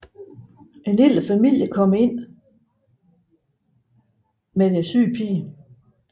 En lille familie kommer ind deres syge pige